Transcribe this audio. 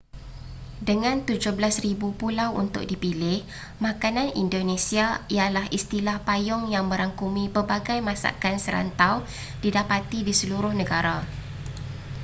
dengan 17,000 pulau untuk dipilih makanan indonesia ialah istilah payung yang merangkumi pelbagai masakan serantau didapati di seluruh negara